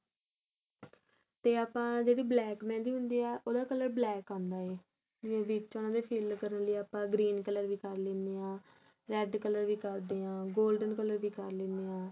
ਤੇ ਆਪਾਂ ਜਿਹੜੀ black mehendi ਹੁੰਦੀ ਆ ਉਹਦਾ color black ਆਂਦਾ ਏ ਜਿਵੇਂ ਵਿੱਚ ਉਹਨਾ ਦੇ fill ਕਰਨ ਲਈ ਆਪਾਂ green color ਵੀ ਕਰ ਲੈਣੇ ਆ red color ਵੀ ਕਰਦੇ ਆ golden color ਵੋ ਕਰ ਲੈਣੇ ਆ